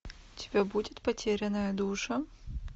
у тебя будет потерянная душа